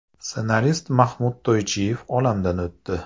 Ssenarist Mahmud To‘ychiyev olamdan o‘tdi.